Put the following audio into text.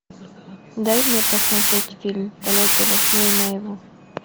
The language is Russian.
дай мне посмотреть фильм полеты во сне и наяву